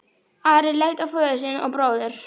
Ari leit á föður sinn og bróður.